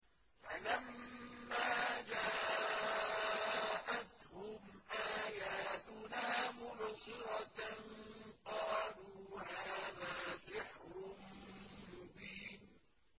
فَلَمَّا جَاءَتْهُمْ آيَاتُنَا مُبْصِرَةً قَالُوا هَٰذَا سِحْرٌ مُّبِينٌ